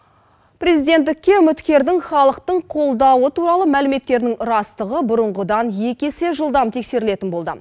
президенттікке үміткердің халықтың қолдауы туралы мәліметтерінің растығы бұрынғыдан екі есе жылдам тексерілетін болды